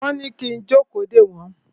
Wọ́n ní kí n jókòó dè wọ́n.